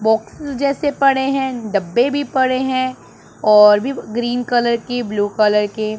box जैसे पड़े हैं डब्बे भी पड़े हैं और भी ग्रीन कलर के ब्लू कलर के--